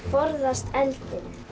forðast eldinn